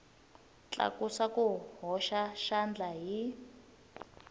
tlakusa ku hoxa xandla hi